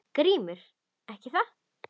GRÍMUR: Ekki það?